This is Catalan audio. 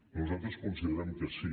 nosaltres considerem que sí